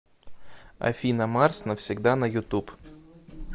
афина марс навсегда на ютуб